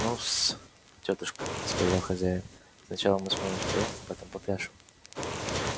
ну-с тётушка сказал хозяин сначала мы с вами споём а потом попляшем